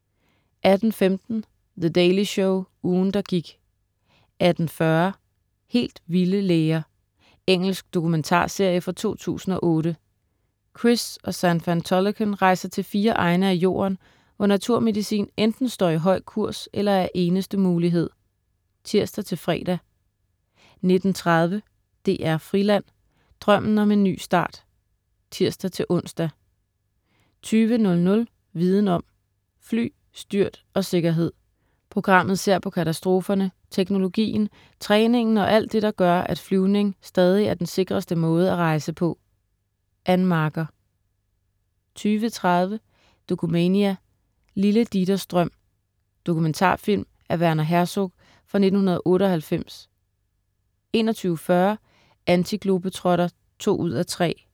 18.15 The Daily Show, ugen, der gik* 18.40 Helt vilde læger. Engelsk dokumentarserie fra 2008. Chris og Xand van Tulleken, rejser til fire egne af Jorden, hvor naturmedicin enten står i høj kurs eller er eneste mulighed (tirs-fre) 19.30 DR Friland: Drømmen om en ny start (tirs-ons) 20.00 Viden om: Fly, styrt og sikkerhed. Programmet ser på katastroferne, teknologien, træningen og alt det, der gør, at flyvning stadig er den sikreste måde at rejse på. Ann Marker 20.30 Dokumania: Lille Dieters drøm. Dokumentarfilm af Werner Herzog fra 1998 21.40 Antiglobetrotter 2:3*